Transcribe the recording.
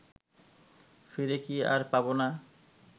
ফিরে কি আর পাব না